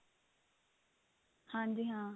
ਹਾਂਜੀ ਹਾਂ